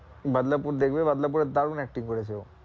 বাদলাপুর দেখবে বাদলাপুর এ দারুন acting করেছে ও